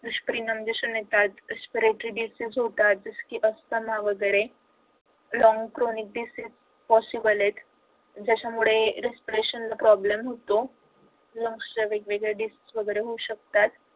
दुष्परिणाम दिसून येतात aspiratory disses होतात असं असताना वगैरे long cronic diseases possible आहेत ज्याच्यामुळे resparation ला problem होतो मग अशा वेगवेगळ्या diseases वैगेरे होऊ शकतात